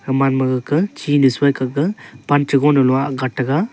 eman ma gaga chinu soi gaga pan cha lon gan gat te ga.